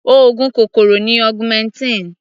Oògùn kòkòrò ni augmentin.